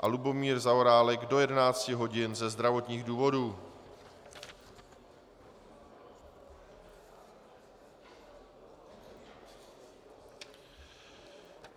a Lubomír Zaorálek do 11 hodin ze zdravotních důvodů.